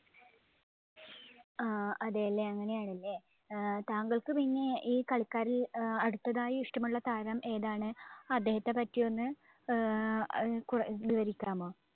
ആഹ് അതേല്ലേ, അങ്ങനെയാണ് അല്ലേ. ഏർ താങ്കള്‍ക്ക് പിന്നെ ഈ കളിക്കാരില്‍ അഹ് അടുത്തതായി ഇഷ്ടമുള്ള താരം ഏതാണ്? അദ്ദേഹത്തെ പറ്റി ഒന്ന് ഏർ കുറ~ വിവരിക്കാമോ?